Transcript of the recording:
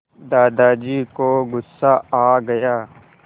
दादाजी को गुस्सा आ गया